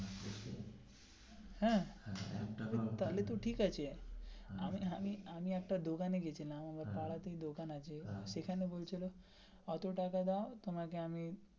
হ্যা তাহলে ঠিক আছে আমি আমি আমি একটা দোকানে গেছিলাম আমার পাড়াতেই দোকান আছে সেখানে বলছিলো এত টাকা দাও তোমাকে আমি.